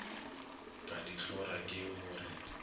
ka dihlora ke go re